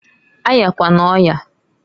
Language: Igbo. A yakwana oyaǃ